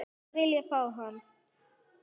Myndi ég vilja fá hann?